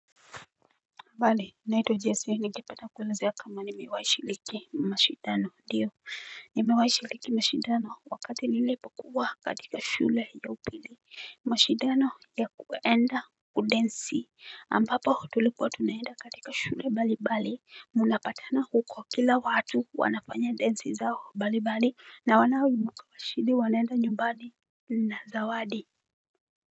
Habarii, naitwa Jesse, ningependa kuelezea kama nimewahi shiriki mashidano, ndiyo, nimewahi shiriki mashidano, wakati nilipokuwa katika shule ya upili. Mashidano ya kuenda kudensi, ambapo tulikuwa tunaenda katika shule mbali mbali, mnapatana huko kila watu wanafanya densi zao mbali mbali, na wanaoibuka washindi wanaenda nyumbani na zawadi.